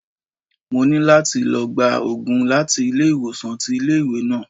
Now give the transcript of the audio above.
Mo ní láti lọ gba Ògùn láti ilé ìwòsàn tí ilé ìwé náà.